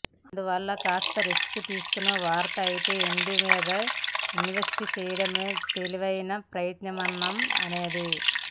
అందువల్ల కాస్త రిస్క్ తీసుకునేవారైతే వెండి మీద ఇన్వెస్ట్ చేయడమే తెలివైన ప్రత్యామ్నాయం అనేది